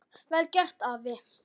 Vel gert, afi.